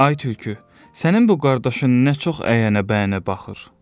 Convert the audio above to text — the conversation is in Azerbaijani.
Ay tülkü, sənin bu qardaşın nə çox əyənə-bəyənə baxır!